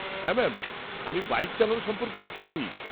-হ্যাঁ ম্যাম, আমি বাইক চালানো সম্পর্কে উৎসাহী।